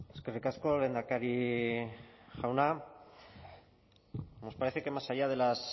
eskerrik asko lehendakari jauna nos parece que más allá de